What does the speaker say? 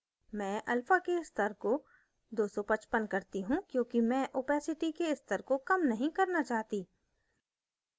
मैं alpha के स्तर को 255 करती हूँ क्योंकि मैं opacity अपारदर्शिता के स्तर को कम नहीं करना चाहती